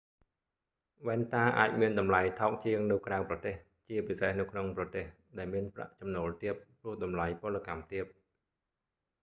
វ៉ែនតាអាចមានតម្លៃថោកជាងនៅក្រៅប្រទេស ជាពិសេសនៅក្នុងប្រទេស ដែលមានប្រាក់ចំណូលទាប ព្រោះតម្លៃពលកម្មទាប